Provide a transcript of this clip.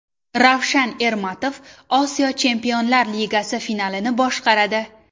Ravshan Ermatov Osiyo Chempionlar Ligasi finalini boshqaradi.